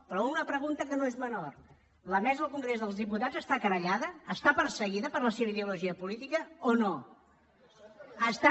però una pregunta que no és menor la mesa del congrés dels diputats està querellada està perseguida per la seva ideologia política o no està